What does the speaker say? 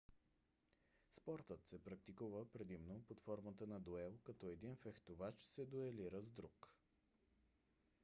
спортът се практикува предимно под формата на дуел като един фехтовач се дуелира с друг